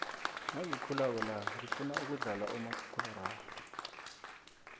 nagikhulako la ngifuna ukudlala umakhakhula rarhwe